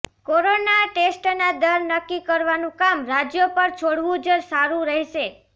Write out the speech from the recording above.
corona ટેસ્ટના દર નક્કી કરવાનું કામ રાજ્યો પર છોડવું જ સારૂં રહેશે